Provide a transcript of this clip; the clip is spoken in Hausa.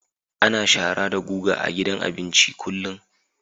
Ana shara da guga a gidan abinci kullum